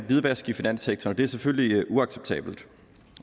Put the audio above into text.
hvidvask i finanssektoren og det er selvfølgelig uacceptabelt